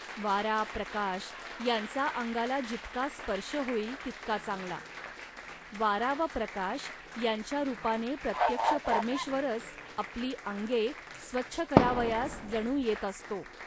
वारा, प्रकाश यांचा अंगाला जितका स्पर्श होईल, तितका चांगला. वारा व प्रकाश यांच्या रूपाने प्रत्यक्ष परमेश्वरच आपली अंगे स्वच्छ करावयास जणू येत असतो